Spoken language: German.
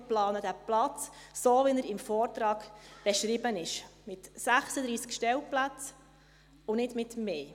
Wir planen diesen Platz, so wie er im Vortrag beschrieben ist, mit 36 Stellplätzen und nicht mit mehr.